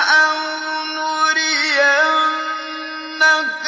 أَوْ نُرِيَنَّكَ